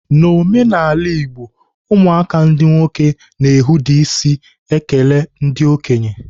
N'omenala Igbo, ụmụaka ndị nwoke na-ehuda isi ekele ndị okenye.